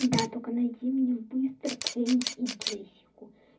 да только найди мне быстро кеннди и джессику